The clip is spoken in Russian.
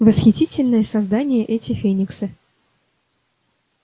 восхитительные создания эти фениксы